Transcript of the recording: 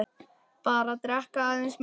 Bara drekka aðeins minna.